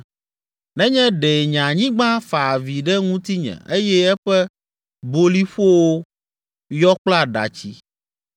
“Nenye ɖe nye anyigba fa avi ɖe ŋutinye eye eƒe boliƒowo yɔ kple aɖatsi,